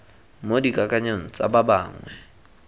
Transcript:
mo dikakanyong tsa ba bangwe